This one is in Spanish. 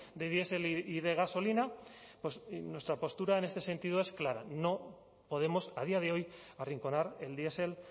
de diesel y gasolina pues nuestra postura en este sentido es clara no podemos a día de hoy arrinconar el diesel